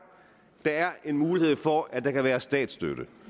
der er en mulighed for at der kan være statsstøtte